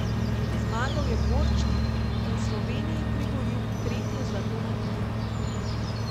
Zmagal je Borčnik in Sloveniji priboril tretje zlato na igrah.